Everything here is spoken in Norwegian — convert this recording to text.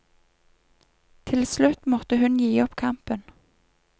Til slutt måtte hun gi opp kampen.